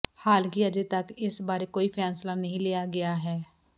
ਹਾਲਾਂਕਿ ਅਜੇ ਤਕ ਇਸ ਬਾਰੇ ਕੋਈ ਫੈਸਲਾ ਨਹੀਂ ਲਿਆ ਗਿਆ ਹੈ